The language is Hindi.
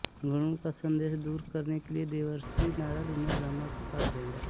गरुड़ का सन्देह दूर करने के लिये देवर्षि नारद उन्हें ब्रह्मा के पास भेजा